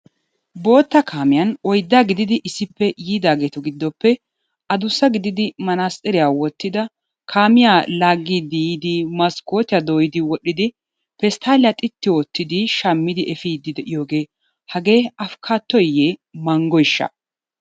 Bootta kaamiyan oyddaa gididi issippe yiidaageetu giddoppe adussa gididi manaatsiriya wottida kaamiya laaggiiddi yiidi maskkootiya dooyidi wodhdhidi pesttaalliya xitti oottidi shammidi efiiddi de'iyogee hagee afikkaattoyiyye manggoyishsha?